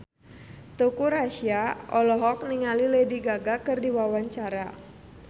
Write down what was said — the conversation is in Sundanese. Teuku Rassya olohok ningali Lady Gaga keur diwawancara